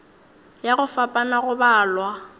ya go fapana go balwa